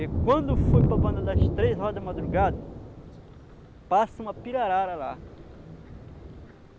E quando foi para banda das três horas da madrugada, passa uma pirarara lá.